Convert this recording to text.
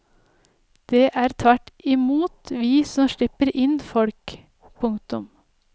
Det er tvert i mot vi som slipper inn folk. punktum